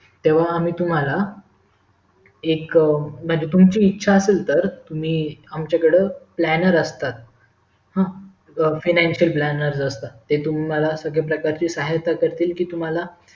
तेव्हा आम्ही तुम्हाला एक म्हणजे तुम्हची ईच्छा असेल तर तुम्ही आमच्याकडे planer असतात हा financial planner असतात जे तुम्हाला सर्व प्रकार चे संहिता करतील कि तुम्हाला